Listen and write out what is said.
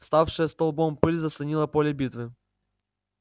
вставшая столбом пыль заслонила поле битвы